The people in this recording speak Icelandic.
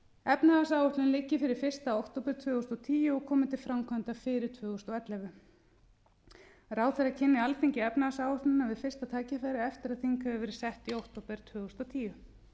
efnahagsáætlunin liggi fyrir fyrsta október tvö þúsund og tíu og komi til framkvæmda fyrir tvö þúsund og ellefu ráðherra kynni alþingi efnahagsáætlunina við fyrsta tækifæri eftir að þing hefur verið sett í október tvö þúsund og tíu